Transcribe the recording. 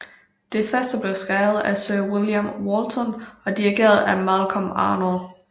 Det første blev skrevet af Sir William Walton og dirigeret af Malcolm Arnold